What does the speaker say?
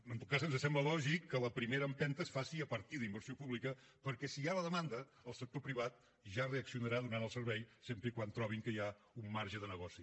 en tot cas ens sembla lògic que la primera empenta es faci a partir d’inversió pública perquè si hi ha la demanda el sector privat ja reaccionarà i donarà el servei sempre que trobi que hi ha un marge de negoci